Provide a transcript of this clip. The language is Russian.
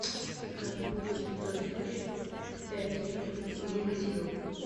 закажи воду святой источник пять литров негазированную